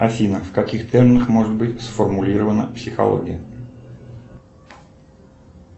афина в каких терминах может быть сформулирована психология